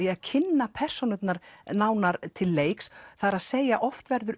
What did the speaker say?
kynna persónurnar nánar til leiks það er að segja oft verður